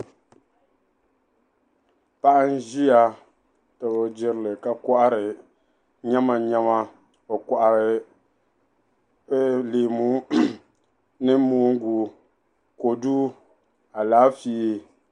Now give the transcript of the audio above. Paɣa ʒiya tabi o jerili ka kɔhiri nyɛma nyɛma o kɔhiri leemu ni moongu kɔdu alaafee.